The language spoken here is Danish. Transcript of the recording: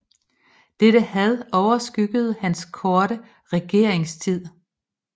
Dette had overskyggede hans korte regeringstid